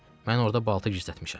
Mən orda balta gizlətmişəm.